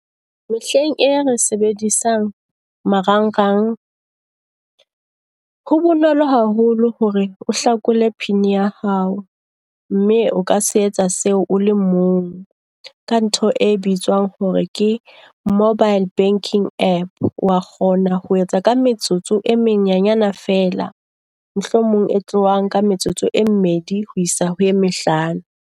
Mehleng e re sebedisang marang rang, ho bonolo haholo hore o hlakole pin ya hao mme o ka se etsa seo o le mong, ka ntho e bitswang hore ke mobile banking app. Wa kgona ho etsa ka metsotso e menyenyana fela, mohlomong e tlohang ka metsotso e mmedi ho isa ho e mehlano.